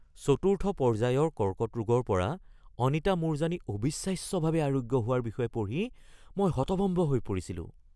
চতুৰ্থ পৰ্যায়ৰ কৰ্কট ৰোগৰ পৰা অনিতা মূৰজানি অবিশ্বাস্যভাৱে আৰোগ্য হোৱাৰ বিষয়ে পঢ়ি মই হতভম্ব হৈ পৰিছিলোঁ।